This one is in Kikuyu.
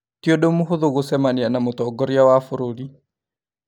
Ti ũndũ mũhũthũ gũcemania na mũtongoria wa bũrũri